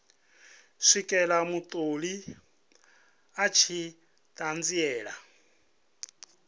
swikela mutholi a tshi ṱanziela